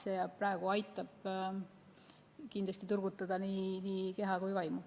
See aitab kindlasti turgutada nii keha kui ka vaimu.